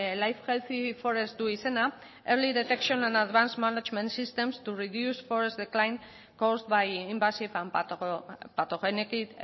life healthy forest du izena early detection and advanced management systems to reduce forest decline caused by invasive and pathogenic